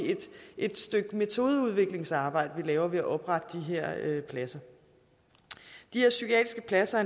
et stykke metodeudviklingsarbejde vi laver ved at oprette de her pladser de her psykiatriske pladser